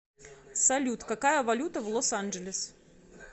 салют какая валюта в лос анджелес